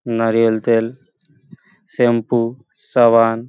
নারিয়েল তেল শ্যাম্পু সাবান --